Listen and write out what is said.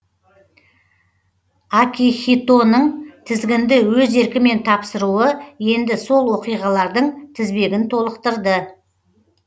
акихитоның тізгінді өз еркімен тапсыруы енді сол оқиғалардың тізбегін толықтырды